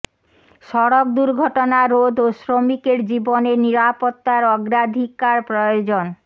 সড়ক দুর্ঘটনা রোধ ও শ্রমিকের জীবনের নিরাপত্তার অগ্রাধিকার প্রয়োজন